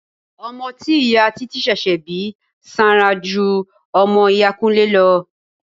Ọmọ tí ìyá títí ṣẹ̀ṣẹ̀ bí sanra ju ọmọ iya Kúnlé lọ.